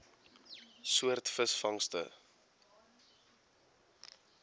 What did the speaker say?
soort visvangste